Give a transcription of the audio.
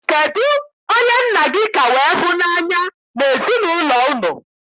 Kedụ onye nna gị ka wee hụ n'anya n'ezinaụlọ unu?